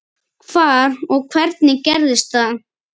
Hvar og hvernig gerðist það?